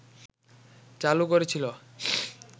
চালু করেছিল